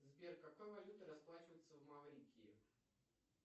сбер какой валютой расплачиваются в маврикии